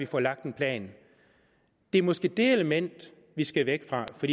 får lagt en plan det er måske det element vi skal væk fra for